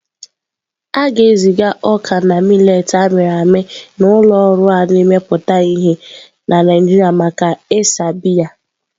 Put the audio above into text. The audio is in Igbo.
A ga-eziga ọka na mileetị a mịrị amị na ụlọ ọrụ a na-emepụta ihe na Naijiria maka ịsa biya.